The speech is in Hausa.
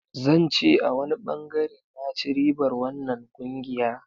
Zan ce a wani bangare na ci ribar wannan kungiya.